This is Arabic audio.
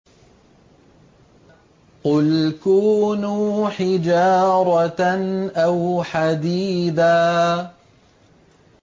۞ قُلْ كُونُوا حِجَارَةً أَوْ حَدِيدًا